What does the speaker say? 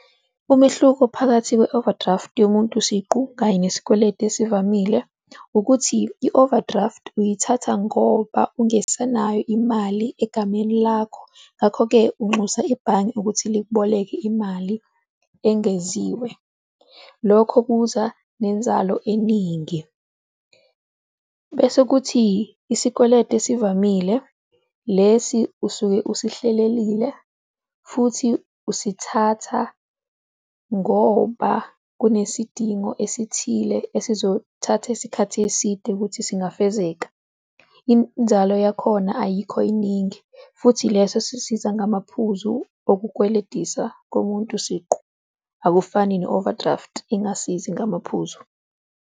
Umehluko phakathi kwe-overdraft yomuntu siqu kanye nesikweletu esivamile ukuthi, i-overdraft uyithatha ngoba ungasenayo imali egameni lakho. Ngakho-ke unxusa ibhange ukuthi likuboleke imali engeziwe, lokho kuza nenzalo eningi. Bese kuthi isikweletu esivamile, lesi usuke usihlelelile futhi usithatha ngoba kunesidingo esithile esizothatha isikhathi eside ukuthi singafezeka, inzalo yakhona ayikho yiningi futhi leso sisiza ngamaphuzu okukweletisa komuntu siqu, akufani ne-overdraft engasizi ngamaphuzu.